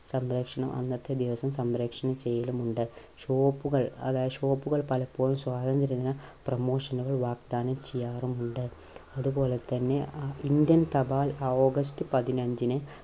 സംപ്രേഷണം അന്നത്തെ ദിവസം സംപ്രേഷണം ചെയ്യലമുണ്ട്. shop കൾ അതായത് shop കൾ പലപ്പോഴും സ്വാതന്ത്ര്യ ദിന promotion കൾ വാഗ്ദാനം ചെയ്യാറുമുണ്ട്. അതുപോലെ തന്നെ അ ഇന്ത്യൻ തപാൽ August പതിനഞ്ചിന്